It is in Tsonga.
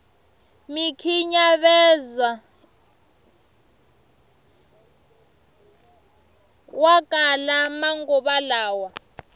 mikhinyavezowa kala manguva lawa